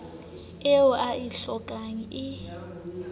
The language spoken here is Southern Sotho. eo o e hlokang e